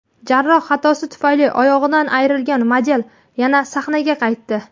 Jarroh xatosi tufayli oyog‘idan ayrilgan model yana sahnaga qaytdi.